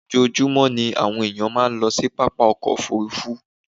Ojoojúmọ́ ní àwọn ènìyàn máa ń lọ pápá ọkọ̀ òfuurufú